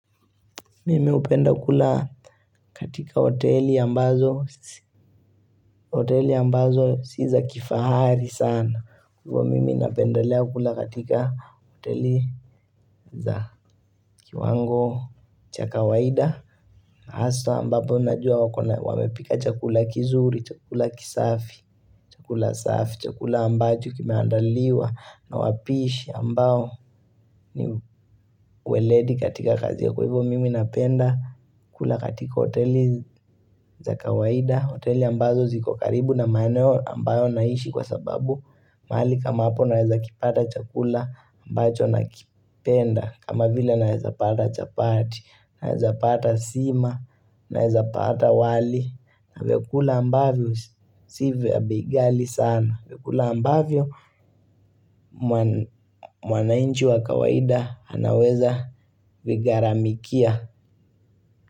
Mimi hupenda kula katika hoteli ambazo, si za kifahari sana. Hua mimi napendalea kula katika hoteli za kiwango, cha kawaida, na hasa ambapo najua wako na wamepika chakula kizuri, chakula kisafi, chakula saafi, chakula ambacho kimeandaliwa, na wapishi ambao ni weledi katika kazi. Kwa hivyo mimi napenda kula katika hoteli za kawaida, hoteli ambazo zikokaribu na maeneo ambayo naishi kwa sababu mahali kama hapo naweza kipata chakula ambacho nakipenda, kama vile naweza pata chapati, naweza pata sima, naweza pata wali na vykula ambavyo si vya bei ghali sana, vyekula ambavyo mwanainchi wa kawaida anaweza vigaramikia.